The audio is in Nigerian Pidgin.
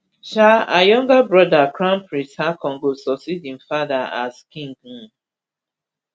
um her younger brother crown prince haakon go succeed im father as king um